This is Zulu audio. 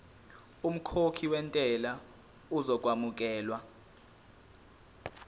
umkhokhi wentela uzokwamukelwa